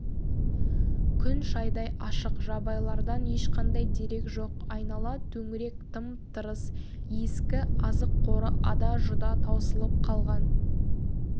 күн шайдай ашық жабайылардан ешқандай дерек жоқ айнала төңірек тым-тырыс ескі азық қоры ада-жұда таусылып қалған